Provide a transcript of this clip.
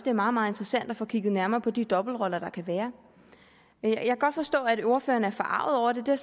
er meget meget interessant at få kigget nærmere på de dobbeltroller der kan være jeg kan godt forstå at ordføreren er forarget over det det er